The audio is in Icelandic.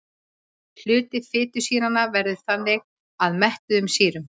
Hluti fitusýranna veður þannig að mettuðum sýrum.